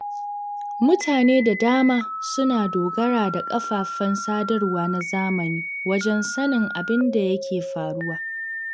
Mutane da dama suna dogara da kafafen sadarwa na zamani wajen sanin abin da yake faruwa.